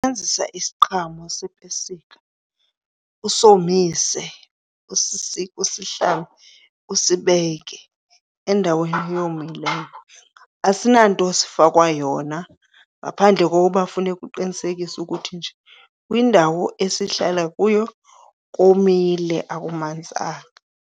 Usebenzisa isiqhamo sepesika usomise, usisike, usihlambe usibekele endaweni eyomileyo. Asinanto sifakwa yona ngaphandle kokuba funeka uqinisekise ukuthi nje kwindawo esihlala kuyo komile akumanzanga.